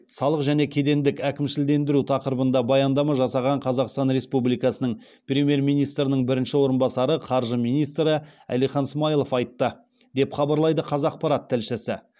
салық және кедендік әкімшілендіру тақырыбында баяндама жасаған қазақстан республикасының премьер министрінің бірінші орынбасары қаржы министрі әлихан смайылов айтты деп хабарлайды қазақпарат тілшісі